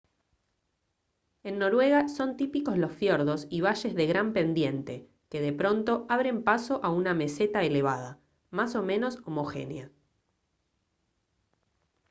en noruega son típicos los fiordos y valles de gran pendiente que de pronto abren paso a una meseta elevada más o menos homogénea